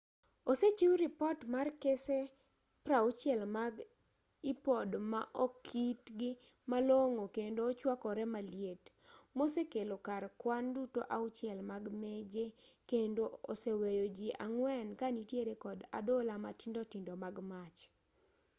osechiw ripot mar kese 60 mag ipod ma okti malong'o kendo chuakore maliet mosekelo kar kwan duto auchiel mag meje kendo oseweyo ji ang'wen ka nitiere kod adhola matindo tindo mag mach